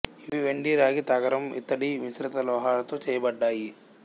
ఇవి వెండి రాగి తగరం ఇత్తడి మిశ్రత లోహాలతో చేయబడ్డాయి